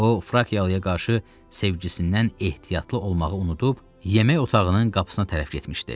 O frakiyalıya qarşı sevgisindən ehtiyatlı olmağı unudub yemək otağının qapısına tərəf getmişdi.